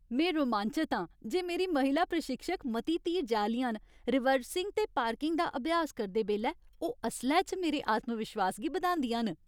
में रोमांचत आं जे मेरी महिला प्रशिक्षक मती धीरजै आह्लियां न, रिवर्सिंग ते पार्किंग दा अभ्यास करदे बेल्लै ओह् असलै च मेरे आत्मविश्वास गी बधांदियां न।